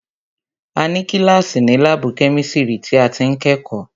A ní kíláàsì ni láàbù kẹ́misiri tí a ti ń kẹ́kọ̀ọ́